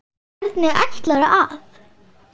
Hvernig ætlarðu að.?